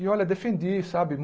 E olha, defendi, sabe?